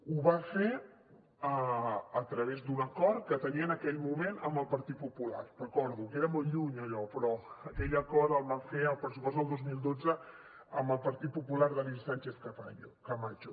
ho va fer a través d’un acord que tenia en aquell moment amb el partit popular ho recordo queda molt lluny allò però aquell acord el van fer al pressupost del dos mil dotze amb el partit popular d’alicia sánchez camacho